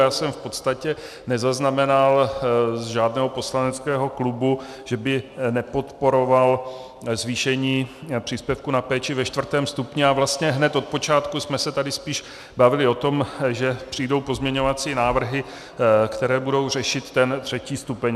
Já jsem v podstatě nezaznamenal u žádného poslaneckého klubu, že by nepodporoval zvýšení příspěvku na péči ve čtvrtém stupni, a vlastně hned od počátku jsme se tady spíš bavili o tom, že přijdou pozměňovací návrhy, které budou řešit ten třetí stupeň.